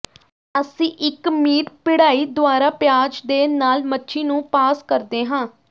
ਅਸੀਂ ਇੱਕ ਮੀਟ ਪਿੜਾਈ ਦੁਆਰਾ ਪਿਆਜ਼ ਦੇ ਨਾਲ ਮੱਛੀ ਨੂੰ ਪਾਸ ਕਰਦੇ ਹਾਂ